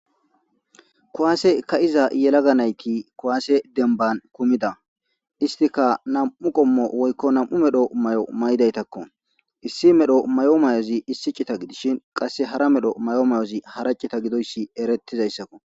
Kowaase ka iza yelaga nayki kowaase denban kumida istika nam7u qommo woykko nam7u medho may7o may7daytakko issi medho may7o mayozi issicita gidishin qasse hara medho may7o may7ozi haracita gidoyssi erettizayssakko.